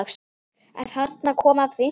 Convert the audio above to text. Þarna kom að því.